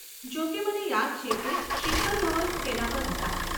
જોકે મને યાદ છે કે શિખર ધવન તેના પર હતા.